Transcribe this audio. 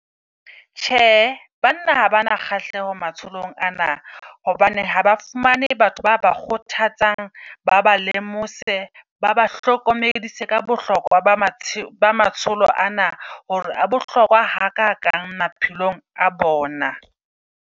Tjhe banna ha ba na kgahleho matsholong ana. Hobane haba fumane batho ba ba kgothatsang, ba ba lemose baba hlokomedisa ka bohlokwa ba matsholo ana. Hore a bohlokwa ha kakang maphelong a bona.